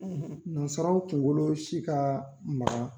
Nansaraw kunkolo si ka magan